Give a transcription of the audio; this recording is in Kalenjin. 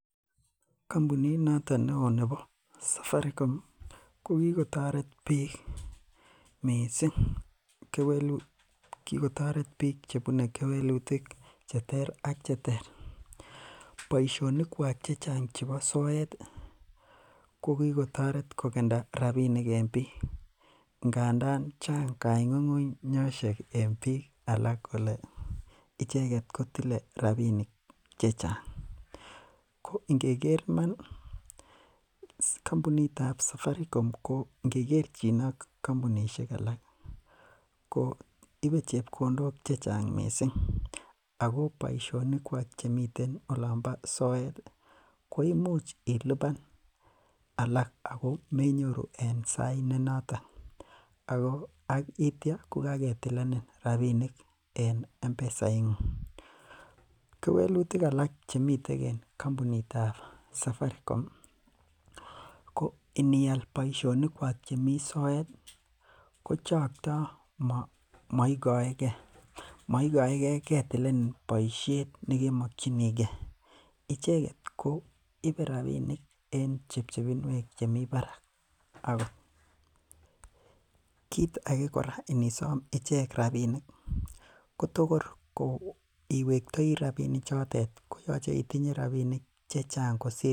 Kombunit noton neo nebo Safaricom ko kikotoret biik mising kewelut, kikotoret biik chebune kewelutik cheter ak cheter, boishonikwak chechang chebo soet ko kikotoret ko kenda rabinik en biik ngandan chang kongungunyoshek en biik alak kolee icheket kotile rabinik chechang, ko ingeker iman kombunitab Safaricom ko ngekerchin ak kombunishek alak ko ibee chepkondok chechang mising ak ko boishonikwak chemiten olombo soet ko imuch iliban alak koimuch iliban ak ko menyoru en sait nenoton ak kityo ko kaketilenin rabinik en mpesa ingung, kewelutik alak chemiten en kombunitab Safaricom ko inial boishonikwak chemii soet ko chokto moikoeke, moikoeke ketilenin boishet nekemokyinike, icheket koibe rabinik en chebchebinwek chemi barak, ak ko kiit akee kora inisom icheket rabinik kotokor iwektoi rabini chotet koyoche itinye rabinik chechang kosir.